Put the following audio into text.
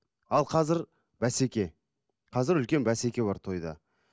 ал казір бәсеке қазір үлкен бәсеке бар тойда